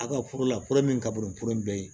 A ka furu la fura min ka bon nin fura in bɛɛ ye